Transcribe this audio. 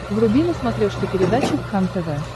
вруби на смотрешке передачу кхлм тв